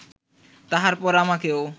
তাহার পর আমাকেও